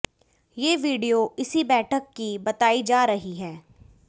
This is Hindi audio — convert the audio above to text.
ये वीडियो इसी बैठक की बताई जा रही है